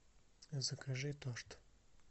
закажи торт